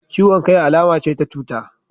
Ciwon kai alama ce ta cuta,